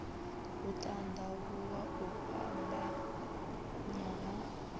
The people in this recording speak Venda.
u tandavhuwa u fhambanya ha